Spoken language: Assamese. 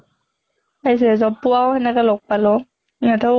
পাইছে job পোৱাও সেনেকে লগ পালো ইহঁতেও